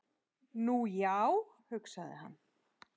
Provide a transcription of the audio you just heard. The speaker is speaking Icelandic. Nú, já, hugsaði hann.